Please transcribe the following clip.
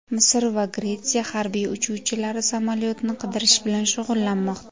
Misr va Gretsiya harbiy uchuvchilari samolyotni qidirish bilan shug‘ullanmoqda.